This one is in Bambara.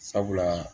Sabula